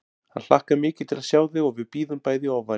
Hann hlakkar mikið til að sjá þig og við bíðum bæði í ofvæni